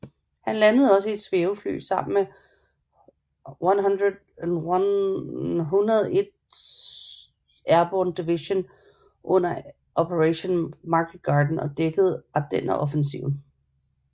Han landede også i et svævefly sammen med 101st Airborne Division under Operation Market Garden og dækkede Ardenneroffensiven